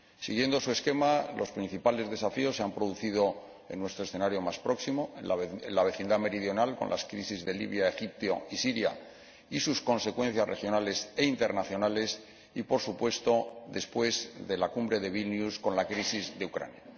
Siguiendo su esquema, los principales desafíos se han producido en nuestro escenario más próximo, en la vecindad meridional, con las crisis de Libia, Egipto y Siria y sus consecuencias regionales e internacionales y, por supuesto, después de la Cumbre de Vilna, con la crisis de Ucrania.